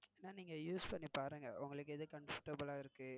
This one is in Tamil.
ஏன்னா நீங்க use பன்னி பாருங்க உங்களுக்கு எது comforatble ஆஹ் இருக்கு.